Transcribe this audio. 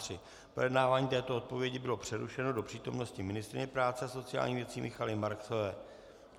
Projednávání této odpovědi bylo přerušeno do přítomnosti ministryně práce a sociálních věcí Michaely Marksové.